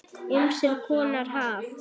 Ýmiss konar haf.